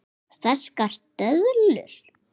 Ferskar döðlur